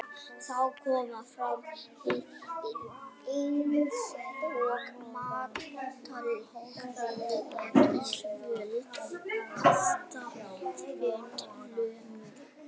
Þá koma fram einkenni eins og máttleysi í vöðvum og staðbundin lömun.